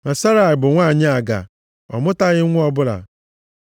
Ma Serai bụ nwanyị aga, ọ mụtaghị nwa ọbụla.